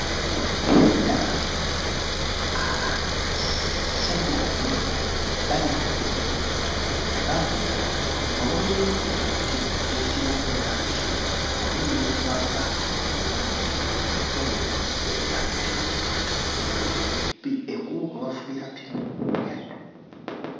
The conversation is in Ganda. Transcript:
Ndaba abasajja babiri bali ku pikipiki, bavuga nga waliwo ente ezibali mu maaso wamu n'ezibava oluuyi ku mukono ogwa ddyo. Ekkubo kwe bavugira pikipiki lya ttaka.